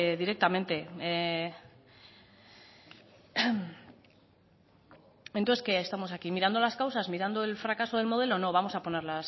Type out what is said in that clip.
directamente entonces qué estamos aquí mirando las causas mirando el fracaso del modelo no vamos a poner